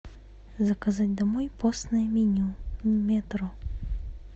заказать домой постное меню метро